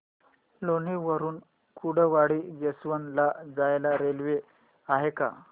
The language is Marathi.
लोणी वरून कुर्डुवाडी जंक्शन ला जायला रेल्वे आहे का